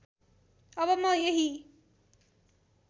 अब म यही